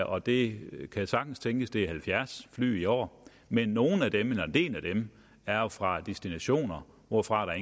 og det kan sagtens tænkes at det er halvfjerds fly i år men nogle af dem eller en del af dem er jo fra destinationer hvorfra der